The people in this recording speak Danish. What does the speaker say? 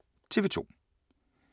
TV 2